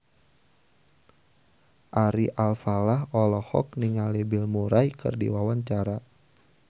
Ari Alfalah olohok ningali Bill Murray keur diwawancara